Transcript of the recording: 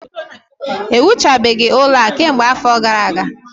Ewuchabeghị ụlọ a kemgbe afọ gara aga